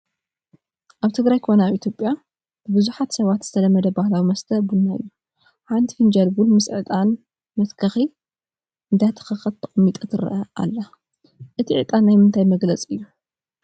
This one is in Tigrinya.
ኣብ ትግራይ ኮነ ኣብ ኢ/ያ ብብዙሓት ሰባት ዝተለመደ ባህላዊ መስተ ቡና እዩ፡፡ ሓንቲ ፊንጃል ቡን ምስ ዕጣን መደከሪ እንዳተኸኸት ተቐሚጣ ትረአ ኣላ፡፡ እቲ ዕጣን ናይ ምንታይ መግለፂ እዩ?